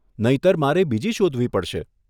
નહિતર મારે બીજી શોધવી પડશે.